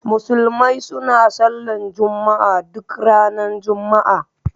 Musulmai suna Sallar Juma'a duk ranar Juma'a.